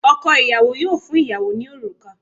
Ọkọ ìyàwó yóò fún ìyàwó ní òrùka